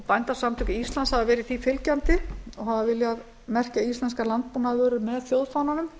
bændasamtök íslands hafa verið því fylgjandi og hafa viljað merkja íslenskar landbúnaðarvörur með þjóðfánanum